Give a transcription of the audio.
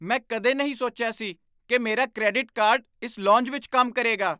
ਮੈਂ ਕਦੇ ਨਹੀਂ ਸੋਚਿਆ ਸੀ ਕਿ ਮੇਰਾ ਕ੍ਰੈਡਿਟ ਕਾਰਡ ਇਸ ਲੌਂਜ ਵਿੱਚ ਕੰਮ ਕਰੇਗਾ!